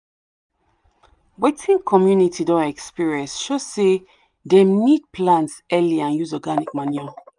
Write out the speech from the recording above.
wetin community don experience show say dem need plant early and use organic manure.